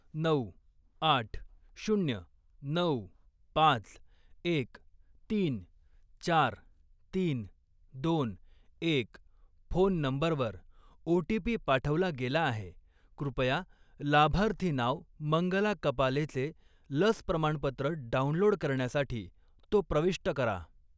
नऊ, आठ, शून्य, नऊ, पाच, एक, तीन, चार, तीन, दोन, एक फोन नंबरवर ओ.टी.पी. पाठवला गेला आहे. कृपया लाभार्थी नाव मंगला कपालेचे लस प्रमाणपत्र डाउनलोड करण्यासाठी तो प्रविष्ट करा.